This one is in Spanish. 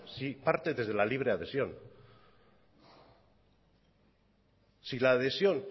si parte desde la libre adhesión si la adhesión